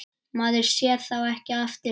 Maður sér þá ekki aftur.